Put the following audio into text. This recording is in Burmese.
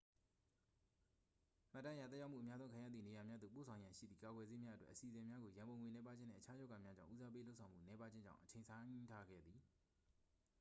မှတ်တမ်းအရ သက်ရောက်မှု အများဆုံးခံရသည့်နေရာများသို့ ပို့ဆောင်ရန်ရှိသည့် ကာကွယ်ဆေးများအတွက် အစီအစဉ်များကို ရန်ပုံငွေနည်းပါးခြင်းနှင့် အခြားရောဂါများကြောင့် ဦးစားပေးလုပ်ဆောင်မှု နည်းပါးခြင်းကြောင့် အချိန်ဆိုင်းထားခဲ့သည်